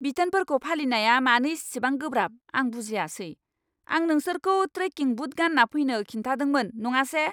बिथोनफोरखौ फालिनाया मानो इसिबां गोब्राब, आं बुजियासै! आं नोंसोरखौ ट्रेकिं बुट गानना फैनो खिन्थादोंमोन, नङासे!